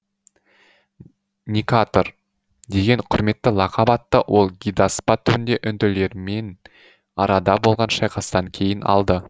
никатор деген құрметті лақап атты ол гидаспа түбінде үнділермен арада болған шайқастан кейін алды